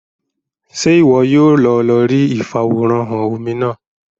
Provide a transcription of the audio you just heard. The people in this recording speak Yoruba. Ṣe iwọ yóò lọ lórí ifaworanhan omí náà?